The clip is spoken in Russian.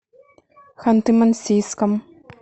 ханты мансийском